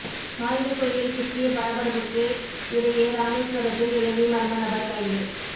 ஆயுத குவியல் சிக்கிய பரபரப்புக்கு இடையே ராமேஸ்வரத்தில் இலங்கை மர்ம நபர் கைது